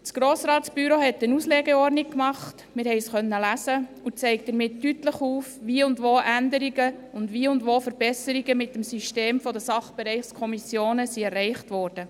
Das Grossratsbüro hat eine Auslegeordnung gemacht – wir konnten es lesen– und zeigt damit deutlich auf, wie und wo Änderungen und Verbesserungen mit dem System der Sachbereichskommissionen erreicht wurden.